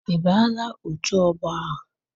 Ị banyela otù ọgbọ ahụ?